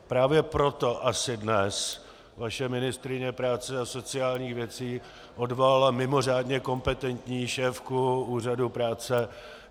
Právě proto asi dnes vaše ministryně práce a sociálních věcí odvolala mimořádně kompetentní šéfku Úřadu práce.